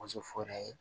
Muso fu yɛrɛ ye